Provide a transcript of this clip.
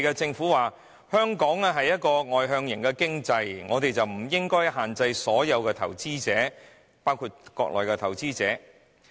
政府說道，香港屬外向型經濟，因此不應該限制外地投資者，包括內地投資者。